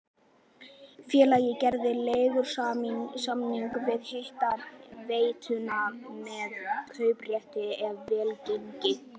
Félagið gerði leigusamning við hitaveituna með kauprétti ef vel gengi.